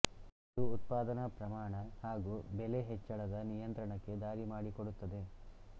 ಇದು ಉತ್ಪಾದನಾ ಪ್ರಮಾಣ ಹಾಗೂ ಬೆಲೆ ಹೆಚ್ಚಳದ ನಿಯಂತ್ರಣಕ್ಕೆ ದಾರಿ ಮಾಡಿಕೊಡುತ್ತದೆ